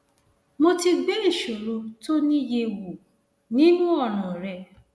mo ti gbé ìṣòro tó o ní yẹ wò nínú ọràn rẹ